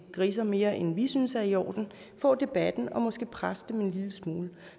griser mere end vi synes er i orden få debatten og måske presse dem en lille smule